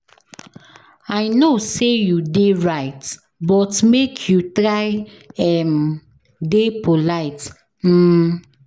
I know sey you dey right but make you try um dey polite. um